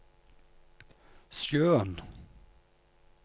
sjøen